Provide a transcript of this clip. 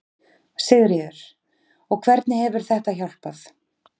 Sigríður: Og hvernig hefur þetta hjálpað?